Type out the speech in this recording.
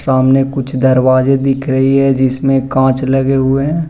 सामने कुछ दरवाजे दिख रही है जिसमें कांच लगे हुए हैं।